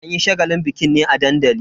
An yi shagalin bikin ne a dandali.